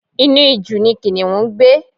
Inú ijù ni Kìnìún ń gbé.